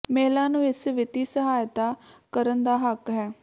ਮਹਿਲਾ ਨੂੰ ਇਸ ਵਿੱਤੀ ਸਹਾਇਤਾ ਕਰਨ ਦਾ ਹੱਕ ਹੈ